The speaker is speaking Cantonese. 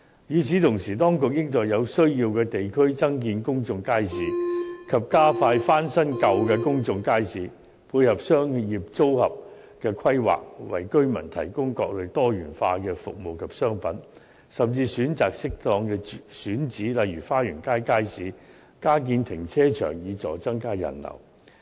與此同時，當局應在有需要的地區增建公眾街市，以及加快翻新舊的公眾街市，配合商業組合的規劃，為居民提供各類多元化的服務及商品，甚至選擇適當的選址加建停車場，以助增加人流。